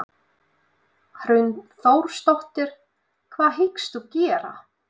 Hrund Þórsdóttir: Hvað hyggstu gera?